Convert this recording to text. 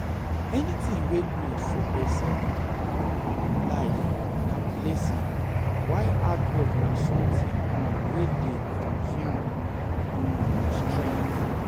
Anything wey good for persin life na blessing while hard work na something um wey de consume um strength um